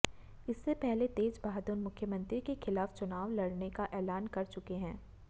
इससे पहले तेज बहादुर मुख्यमंत्री के खिलाफ चुनाव लड़ने का ऐलान कर चुके हैं